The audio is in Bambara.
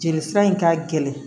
Jeli sira in ka gɛlɛn